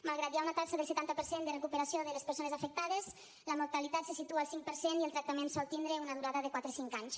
malgrat que hi ha una taxa del setanta per cent de recuperació de les persones afectades la mortalitat se situa al cinc per cent i el tractament sol tindre una durada de quatre cinc anys